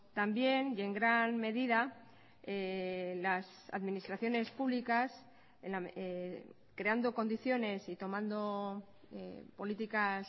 también y en gran medida las administraciones públicas creando condiciones y tomando políticas